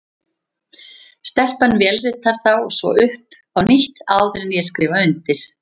Stelpan vélritar þá svo upp á nýtt, áður en ég skrifa undir.